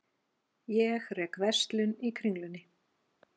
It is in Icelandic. Ég rek verslun í Kringlunni.